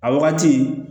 A wagati